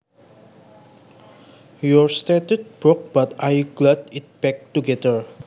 Your statue broke but I glued it back together